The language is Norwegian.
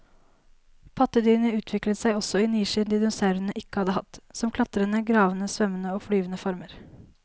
Pattedyrene utviklet seg også i nisjer dinosaurene ikke hadde hatt, som klatrende, gravende, svømmende og flyvende former.